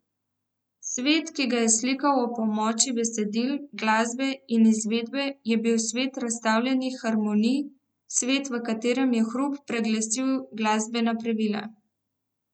Svet, ki ga je slikal ob pomoči besedil, glasbe in izvedbe, je bil svet razstavljenih harmonij, svet, v katerem je hrup preglasil glasbena pravila.